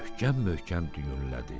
Möhkəm-möhkəm düyünlədi.